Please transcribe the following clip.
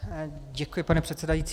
Děkuji, pane předsedající.